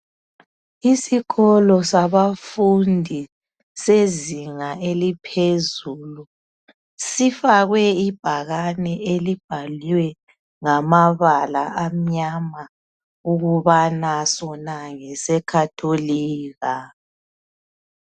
Isikolo sabafundi sezinga eliphezulu sifakwe ibhakane elibhalwe ngamabala amnyama ukubana sona ngese Khatholika.